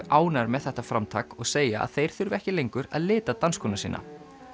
ánægðir með þetta framtak og segja að þeir þurfi ekki lengur að lita dansskóna sína